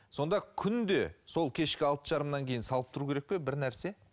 сонда күнде сол кешкі алты жарымнан кейін салып тұру керек пе бір нәрсе